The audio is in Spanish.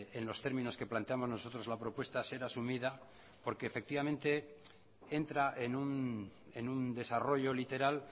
en los términos que planteamos nosotros la propuesta ser asumida porque efectivamente entra en un desarrollo literal